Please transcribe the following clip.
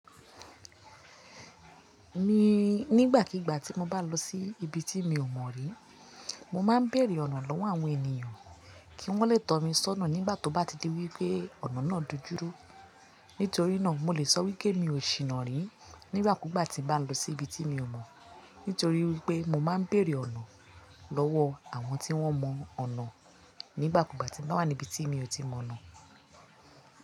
Mii, nígbà kígbà tí mo bá lọ sí ibi tí mi ò mọ̀ rí, mo máa ń béèrè ọ̀nà lọ́wọ́ àwọn ènìyàn kí wọ́n lè tọ́ mi sọ́nà nígbà tó na ti di wípé ọ̀nà náà dojú rú. Nítorí náà, mo lè sọ wípé mi ò ṣìná rìn nígbàkúgbà tí bá lọ sí ibi tí mi ò mọ̀, nítorí wípé mo máa ń bèèrè ọ̀nà lọ́wọ́ àwọn tí wọ́n mọ ọ̀nà nígbàkúgbà tí n bá wà ní ibi tí mi ò tí mọ̀ náà.